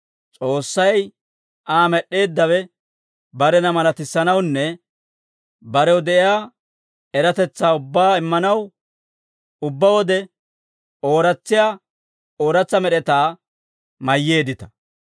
S'oossay, Aa med'd'eeddawe, barena malatissanawunne barew de'iyaa eratetsaa ubbaa immanaw, ubbaa wode ooratsiyaa ooratsa med'etaa mayyeeddita.